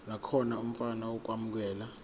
nakhona ofuna ukwamukelwa